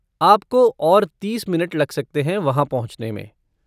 आपको और तीस मिनट लग सकते हैं वहाँ पहुँचने में।